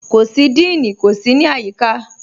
Kò sí díìní, kò sí ní ayííkà.